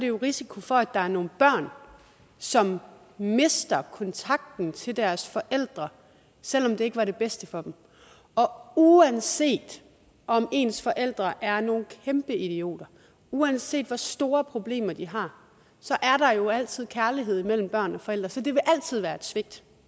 jo en risiko for at der er nogle børn som mister kontakten til deres forældre selv om det ikke var det bedste for dem og uanset om ens forældre er nogle kæmpe idioter uanset hvor store problemer de har så er der jo altid kærlighed mellem børn og forældre så det vil altid være et svigt